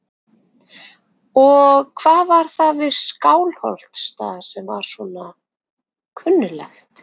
Og hvað var það við Skálholtsstað sem var svo kunnuglegt?